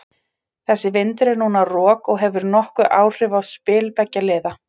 Þessi vindur er núna rok og hefur nokkur áhrif á spil beggja liða.